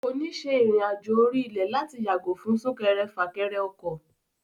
Kò ní ṣe ìrìn àjò orí ilẹ̀ láti yàgò fún súnkẹrẹfàkẹrẹ ọkọ̀.